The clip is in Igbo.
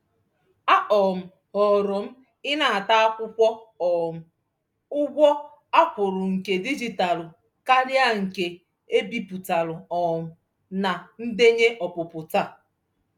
A um họọrọ m ịnata akwụkwọ um ụgwọ a kwụrụ nke dijitalụ karịa nke e bipụtara um na ndenye ọpụpụ taa.